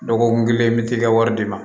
Dɔgɔkun kelen i bɛ t'i ka wari di ma